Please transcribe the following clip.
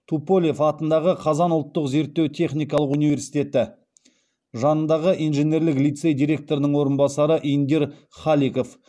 туполев атындағы қазан ұлттық зерттеу техникалық университеті жанындағы инженерлік лицей директорының орынбасары индир халиков